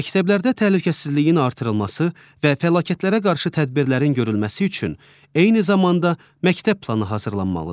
Məktəblərdə təhlükəsizliyin artırılması və fəlakətlərə qarşı tədbirlərin görülməsi üçün eyni zamanda məktəb planı hazırlanmalıdır.